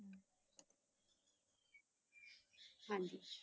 ਹਾਂਜੀ